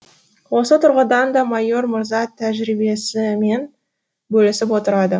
осы тұрғыдан да майор мырза тәжірибесімен бөлісіп отырады